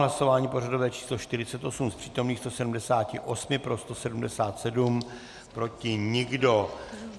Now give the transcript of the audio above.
Hlasování pořadové číslo 48, z přítomných 178 pro 177, proti nikdo.